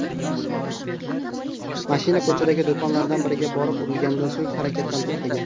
Mashina ko‘chadagi do‘konlardan biriga borib urilganidan so‘ng harakatdan to‘xtagan.